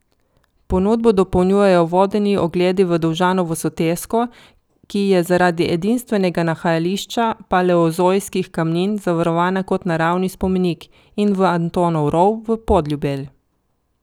Ponudbo dopolnjujejo vodeni ogledi v Dovžanovo sotesko, ki je zaradi edinstvenega nahajališča paleozoiskih kamnin zavarovana kot naravni spomenik, in v Antonov rov v Podljubelj.